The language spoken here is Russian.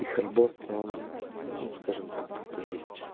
их работа ну скажем так типа есть